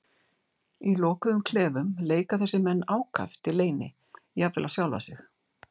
Í lokuðum klefum leika þessir menn ákaft í leyni, jafnvel á sjálfa sig.